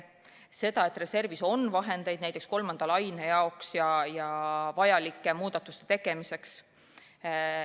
Ta kinnitas ka seda, et reservis on vahendeid näiteks kolmanda laine jaoks vajalike muudatuste tegemiseks.